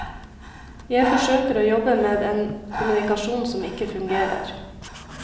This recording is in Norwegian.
Jeg forsøker å jobbe med en kommunikasjon som ikke fungerer.